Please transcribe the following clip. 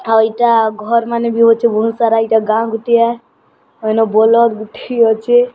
ଆଉ ଇଟା ଘରମାନେ ବି ହୋଉଛେ ବହୁତ ସାରା ଇଟା ଗାଁ ଗୁଟିଏ ଆଉ ଏନ ବଲଦ ଗୁଟିଏ ଅଛି।